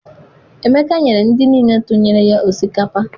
Emeka nyere ndị niile tụnyere ya osikapa.